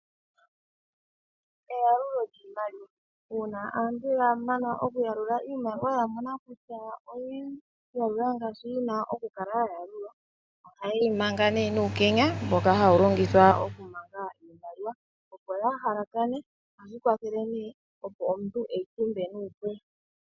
Eyalulo lyiimaliwa uuna aantu yamana okuyalula iimaliwa yamona kutya oyeyi yalula ngaashi yina okukala yayalulwa ohaye yi manga ne nuukenya mboka hawu longithwa okumanga iimaliwa opo kayi halakane opo omuntu eyi tumbe nuupu.